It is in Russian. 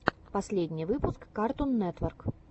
последний выпуск картун нетворк